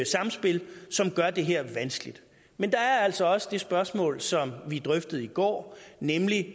samspil som gør det her vanskeligt men der er altså også det spørgsmål som vi drøftede i går nemlig